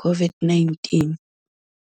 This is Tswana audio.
COVID-19.